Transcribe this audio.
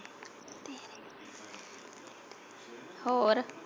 ਹੋਰ?